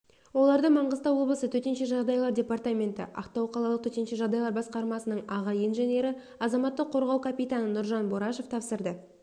оларды маңғыстау облысы төтенше жағдайлар департаменті ақтау қалалық төтенше жағдайлар басқармасының аға инженері азаматтық қорғау капитаны нұржан борашев тапсырды